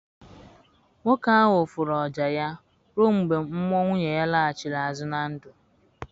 Nwoke ahụ fụrụ oja ya ruọ mgbe mmụọ nwunye ya laghachiri azụ na ndụ.